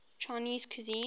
chinese cuisine